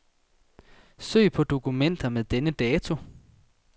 Søg på dokumenter med denne dato.